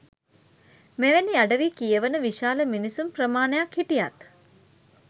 මෙවැනි අඩවි කියවන විශාල මිනිසුන් ප්‍රමාණයක් හිටියත්